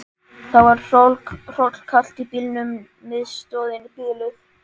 Það var hrollkalt í bílnum, miðstöðin biluð.